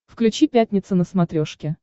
включи пятница на смотрешке